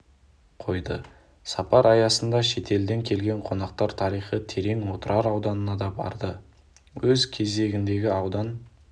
қойды сапар аясында шетелден келген қонақтар тарихы терең отырар ауданына да барды өз кезегінде аудан